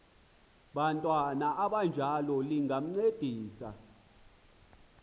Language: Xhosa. bantwana abanjalo lingancedisa